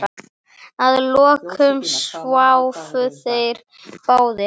Að lokum sváfu þeir báðir.